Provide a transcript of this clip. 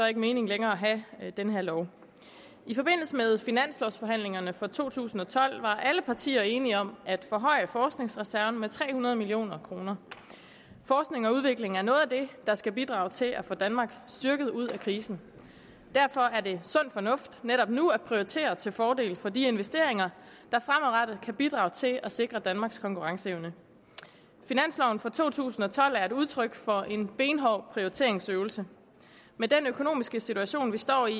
ikke mening længere at have den her lov i forbindelse med finanslovforhandlingerne for to tusind og tolv var alle partier enige om at forhøje forskningsreserven med tre hundrede million kroner forskning og udvikling er noget af det der skal bidrage til at få danmark styrket ud af krisen derfor er det sund fornuft netop nu at prioritere til fordel for de investeringer der fremadrettet kan bidrage til at sikre danmarks konkurrenceevne finansloven for to tusind og tolv er et udtryk for en benhård prioriteringsøvelse med den økonomiske situation vi står i